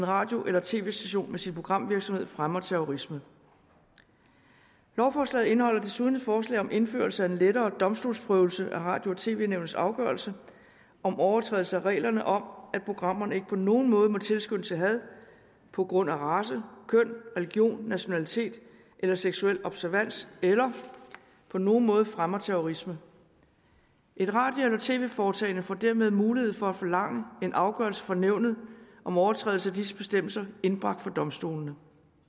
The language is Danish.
radio eller tv station med sin programvirksomhed fremmer terrorisme lovforslaget indeholder desuden et forslag om indførelse af en lettere domstolsprøvelse af radio og tv nævnets afgørelser om overtrædelse af reglerne om at programmerne ikke på nogen måde må tilskynde til had på grund af race køn religion nationalitet eller seksuel observans eller på nogen måde fremme terrorisme et radio eller tv foretagende får dermed mulighed for at forlange en afgørelse fra nævnet om overtrædelse af disse bestemmelser indbragt for domstolene